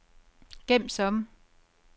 gem som